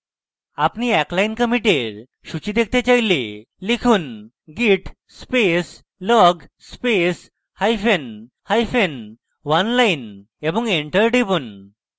আপনি এক line কমিটের সূচী দেখতে চাইলে লিখুন: git space log space hyphen hyphen oneline এবং enter টিপুন